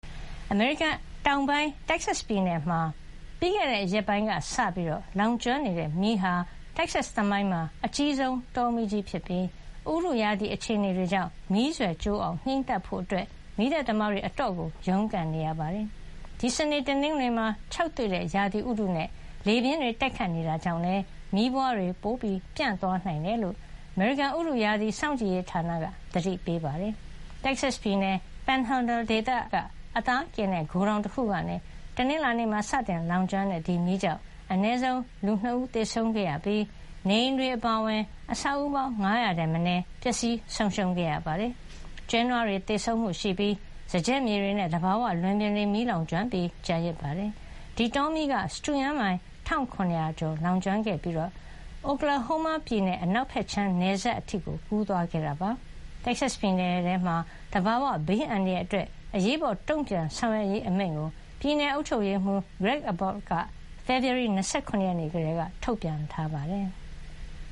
အမေရိကန် တောင်ပိုင်း တက္ကဆက်ပြည်နယ်မှာ ပြီးခဲ့တဲ့ရက်ပိုင်းကစလို့ လောင်ကျွမ်းနေတဲ့ မီးဟာ တက္ကဆက် သမိုင်းမှာ အကြီးဆုံး တောမီးကြီးဖြစ်ပြီး ၊ ရာသီဥတု အခြေအနေတွေကြောင့် မီးစွယ်ကျိုးအောင် ငြိမ်းသတ်ဖို့ မီးသတ်သမားတွေ အတော်ကို ရုန်းကန်နေရပါတယ်။ ဒီ စနေ တနင်္ဂနွေမှာ ခြောက်သွေ့တဲ့ ရာသီဥတုနဲ့ လေပြင်း တိုက်ခိုက်နေတာကြောင့်လည်း မီးပွားတွေ ၊ ပို ပျံ့သွားနိုင်တယ်လို့ အမေရိကန်ရာသီဥတုစောင့်ကြည့်ရေးဌာနက သတိပေးထားပါတယ်။ တက္ကဆက်ပြည်နယ် Panhandle ဒေသက အသားကင်တဲ့ ဂိုဒေါင်တခုကနေ တနင်္လာနေ့မှာ စတင်လောင်ကျွမ်းတဲ့ မီးကြောင့် အနည်းဆုံး လူ(၂)ဦး သေဆုံးခဲ့ရပြီး၊ နေအိမ်တွေ အပါဝင် အဆောက်အဦး ၅၀၀ ထက်မနည်း ပျက်စီးဆုံးရှုံးခဲ့ရပါတယ်။ ကျွဲနွားတွေ သေဆုံးမှု ရှိပြီး၊ စားကျက်မြေတွေနဲ့ သဘာဝလွင်ပြင်တွေ မီးကျွမ်းပြီး ကျန်ရစ်ခဲ့ပါတယ်။ ဒီတောမီးက စတုရန်းမိုင်(၁၇၀၀)ကျော် လောင်ကျွမ်းခဲ့ပြီး အိုကလာဟိုးမားပြည်နယ် အနောက်ဖက်ခြမ်း နယ်စပ်အထိ ကူးစက်သွားခဲ့ပါတယ်။ တက္ကဆက်ပြည်နယ်မှာ သဘာဝဘေးအန္တရာယ် အရေးပေါ် တုံ့ပြန်ဆောင်ရွက်ရေးအမိန့်ကို ပြည်နယ်အုပ်ချုပ်ရေးမှူး Greg Abbott က ဖေဖေါ်ဝါရီ ၂၇ ကတည်းက ထုတ်ပြန်ထားပါတယ်။